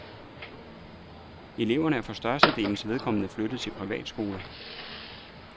Eleverne er for størstedelens vedkommende flyttet til privatskoler.